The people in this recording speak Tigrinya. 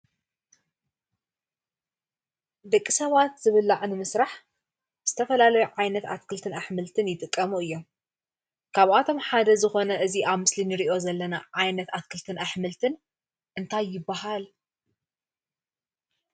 ደቂ ሰባት ዝብላዕ ንምስራሕ ዝተፈላለዩ ዓይነት ኣትክልቲን ኣሕምልትን ይጥቀሙ እየም። ካብኣቶም ሓደ ዝኾነ እዚ ኣብ ምስሊ እንሪኦ ዘለና ዓይነት ኣትክልትን ኣሕምልትን እንታይ ይባሃል?